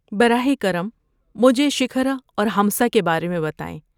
براہ کرم مجھے شکھر اور ہمسہ کے بارے میں بتائیں۔